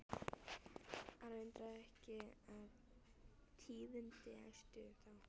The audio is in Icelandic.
Ara undraði ekki að tíðindin æstu þá.